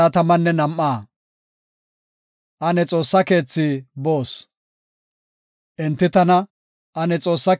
Enti tana, “Ane Xoossa keethi boos” yaagin, tana ufaysis.